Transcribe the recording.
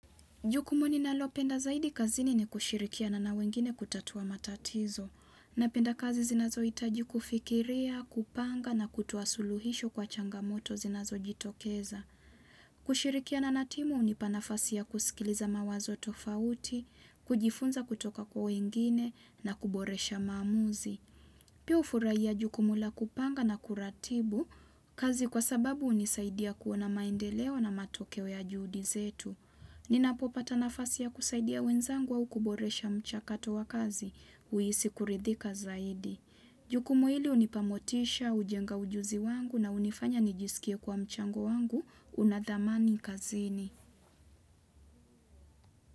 Jukumu ni nalopenda zaidi kazini ni kushirikiana na wengine kutatua matatizo. Na penda kazi zinazo itaji kufikiria, kupanga na kutoa suluhisho kwa changamoto zinazo jitokeza. Kushirikiana na timu unipa nafasi ya kusikiliza mawazo tofauti, kujifunza kutoka kwa wengine na kuboresha maamuzi. Pia ufurahia jukumu la kupanga na kuratibu kazi kwa sababu unisaidia kuona maendeleo na matokeo ya juhudi zetu. Nina popata nafasi ya kusaidia wenzangu au kuboresha mchakato wa kazi, huisi kuridhika zaidi. Jukumu hili unipa motisha, ujenga ujuzi wangu na unifanya nijisikie kuwa mchango wangu, una dhamani kazini.